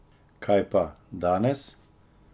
Kaj pa, danes?